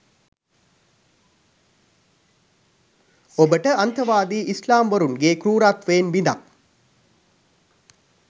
ඔබට අන්තවාදී ඉස්ලාම්වරුන්ගේ කෘරත්වයෙන් බිදක්